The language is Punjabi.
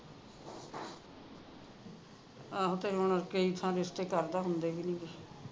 ਆਹੋ ਤੇ ਹੁਣ ਕਈ ਥਾਂ ਰਿਸ਼ਤੇ ਕਰਦਾ ਹੁੰਦੇ ਵੀ ਨਹੀਂ ਗੇ